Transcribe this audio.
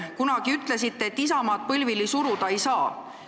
Kunagi ütlesite, et Isamaad põlvili suruda ei saa.